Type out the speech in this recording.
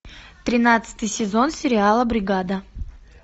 тринадцатый сезон сериала бригада